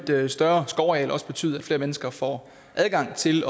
større skovareal også betyde at flere mennesker får adgang til